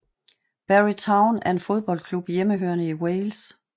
Barry Town er en fodboldklub hjemmehørende i Wales